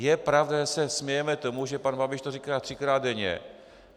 Je pravda, že se smějeme tomu, že pan Babiš to říká třikrát denně.